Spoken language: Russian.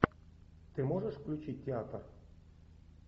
ты можешь включить театр